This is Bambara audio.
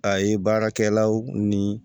A ye baarakɛlaw ni